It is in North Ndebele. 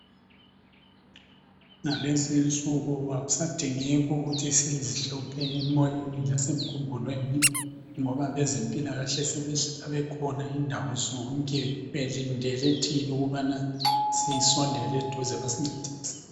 Ngalezinsuku akusadingeki ukuthi sizihluphe emoyeni lasemkhumbulweni ngoba abazempilakahle sebehlala bekhona indawo zonke belindele thina ukubana sisondele eduze besincedise.